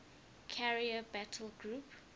carrier battle group